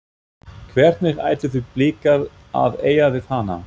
Hvernig ætluðu Blikar að eiga við hana?